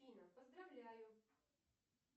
афина поздравляю